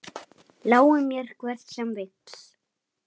Lái mér hver sem vill.